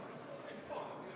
Ma ei oska seda kuidagi mõõta.